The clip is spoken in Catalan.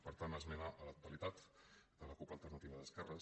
per tant esmena a la totalitat de la cup alternativa d’esquerres